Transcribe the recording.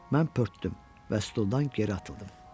Mən pörtdüm və stuldan geri atıldım.